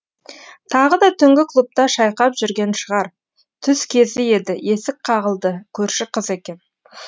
тағы да түнгі клубта шайқап жүрген шығар түс кезі еді есік қағылды көрші қыз екен